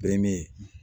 Bere min